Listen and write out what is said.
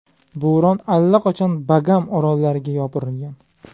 Bo‘ron allaqachon Bagam orollariga yopirilgan.